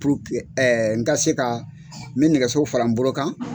Puruke n ka se ka n bɛ nɛgɛso fara n bolo kan.